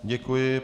Děkuji.